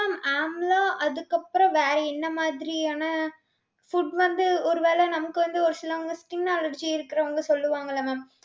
mam amla அதுக்கு அப்புறம் வேற என்ன மாதிரியான food வந்து ஒருவேளை நமக்கு வந்து ஒரு சிலவங்களுக்கு skin allergy இருக்கிறவங்க சொல்லுவாங்கல்ல mam.